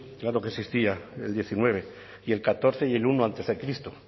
claro que existía el diecinueve y el catorce y el uno antes de cristo